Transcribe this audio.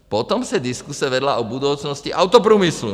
Potom se diskuse vedla o budoucnosti autoprůmyslu.